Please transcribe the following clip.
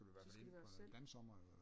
Så skulle det være os selv